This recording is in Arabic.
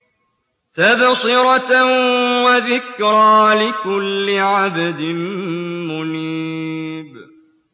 تَبْصِرَةً وَذِكْرَىٰ لِكُلِّ عَبْدٍ مُّنِيبٍ